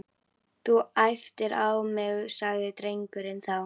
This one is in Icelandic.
Þú æptir á mig sagði drengurinn þá.